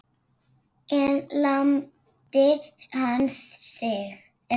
En lamdi hann þig?